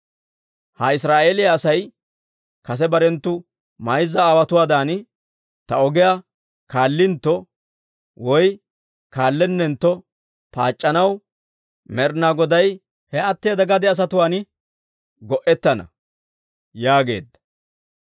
Ha Israa'eeliyaa Asay kase barenttu mayza aawotuwaadan ta ogiyaa kaallintto, woy kaallennentto paac'c'anaw, Med'inaa Goday he atteeda gade asatuwaan go'ettana» yaageedda.